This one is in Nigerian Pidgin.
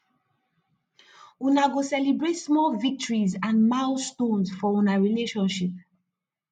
una go celebrate small victories and milestone for una relationship